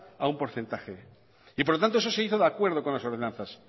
a un porcentaje y por lo tanto eso se hizo de acuerdo con las ordenanzas